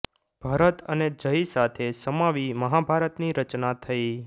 ભરત અને જય સાથે સમાવી મહાભારતની રચના થઈ